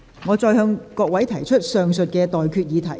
我現在向各位提出上述待決議題。